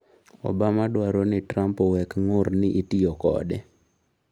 Obama dwaro ni Trump owek ng'ur ni itiyo kode